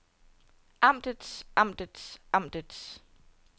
amtets amtets amtets